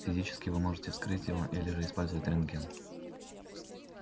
физически вы можете вскрыть его или же использовать рентген